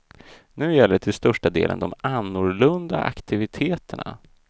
Nu gäller till största delen de annorlunda aktiviteterna.